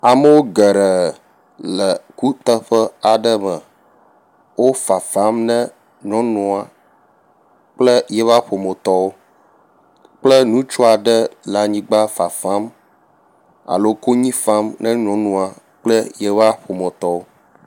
Amewo geɖe le kuteƒe aɖe me. Wofafam ne nyɔnua kple yiƒe ƒometɔwo kple ŋutsu aɖe le anyigba fafam alo le konyi fam ne nyɔnua kple yiƒe ƒometɔwo.